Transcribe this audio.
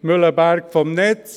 Mühleberg ist vom Netz.